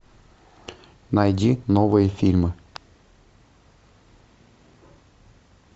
найди новые фильмы